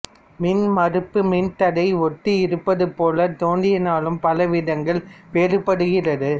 மின்மறுப்பு மின்தடையை ஒத்து இருப்பது போல் தோன்றினாலும் பல விதங்களில் வேறுபடுகிறது